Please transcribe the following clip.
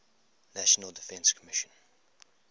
national defense commission